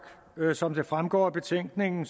som det fremgår af betænkningen